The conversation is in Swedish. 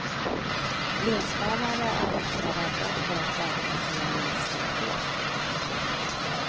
Linsbärare är ofta rädda för att bada med sina linser på.